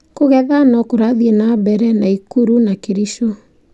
Kũgetha no kũrathiĩ na mbere Nakuru na Kericho